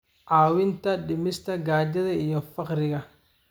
caawinta dhimista gaajada iyo faqriga.